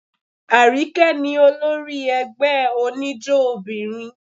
Àríkẹ́ ní olórí ẹgbẹ́ oníjó obìnrin.